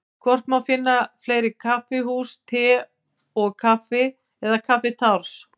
Hvort má finna fleiri kaffihús Te og Kaffi eða Kaffitárs?